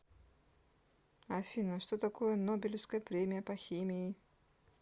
афина что такое нобелевская премия по химии